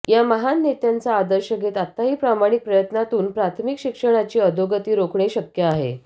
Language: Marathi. या महान नेत्यांचा आदर्श घेत आताही प्रामाणिक प्रयत्नातून प्राथमिक शिक्षणाची अधोगती रोखणे शक्य आहे